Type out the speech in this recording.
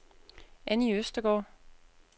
Annie Østergaard